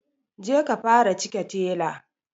Je ka fara cike tela